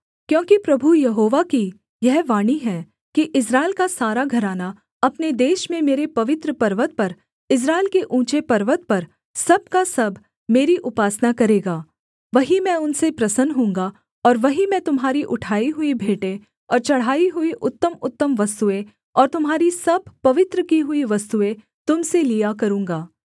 क्योंकि प्रभु यहोवा की यह वाणी है कि इस्राएल का सारा घराना अपने देश में मेरे पवित्र पर्वत पर इस्राएल के ऊँचे पर्वत पर सब का सब मेरी उपासना करेगा वही मैं उनसे प्रसन्न होऊँगा और वहीं मैं तुम्हारी उठाई हुई भेंटें और चढ़ाई हुई उत्तमउत्तम वस्तुएँ और तुम्हारी सब पवित्र की हुई वस्तुएँ तुम से लिया करूँगा